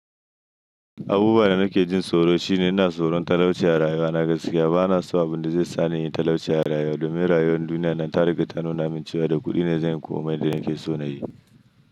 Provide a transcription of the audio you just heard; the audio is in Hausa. Abubuwan da nake jin tsoro shine ina tsoron talauciya rayuwa na gaskiya. Bana so abun da zai sa ni in yi talauciya rayuwa domin rayuwar duniya nan ta riƙa ta nuna min cewa da kuɗi ne zan koma inda nake so na yi.